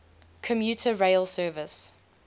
commuter rail service